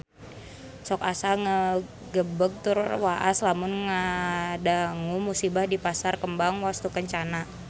Sok asa ngagebeg tur waas lamun ngadangu musibah di Pasar Kembang Wastukencana